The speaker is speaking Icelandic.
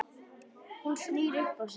Hún snýr upp á sig.